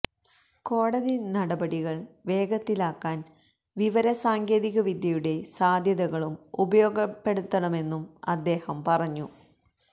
കോടതി നടപടികൾ വേഗത്തിലാക്കാൻ വിവിര സാങ്കേതിക വിദ്യയുടെ സാധ്യതകളും ഉപയോഗപ്പെടുത്തുമെന്നും അദ്ദേഹം പറഞ്ഞു